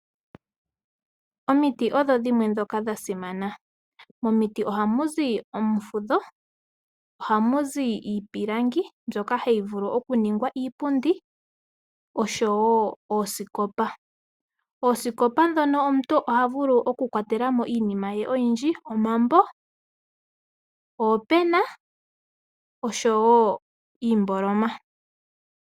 Omiti odho dhimwe ndhoka sha simana, momiti ohamu zi omufudho, ohamu zi iipilangi mbyoka hayi vulu okuningwa iipundi noshowo oosikopa. Oosikopa ndhono omuntu oha vulu kwatela mo iinima ye oyindji, omambo, oopena oshowo iimboloma